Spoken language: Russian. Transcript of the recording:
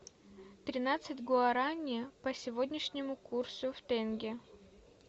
тринадцать гуарани по сегодняшнему курсу в тенге